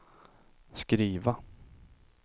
skriva